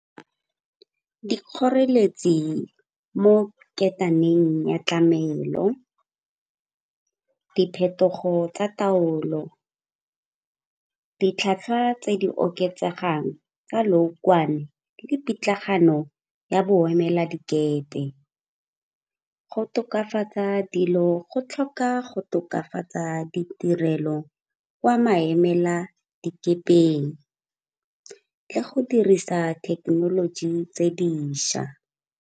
Dikgoreletsi mo ketaneng ya tlamelo, diphetogo tsa taolo, ditlhwatlhwa tse di oketsegang tsa leokwane le pitlagano ya boemela dikepe. Go tokafatsa dilo go tlhoka go tokafatsa ditirelo kwa maemela dikepeng le go dirisa thekenoloji tse dišwa.